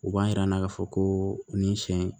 U b'a yira n na ka fɔ ko nin sɛ in